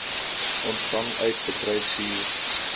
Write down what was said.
ontvang uit bedryfshuur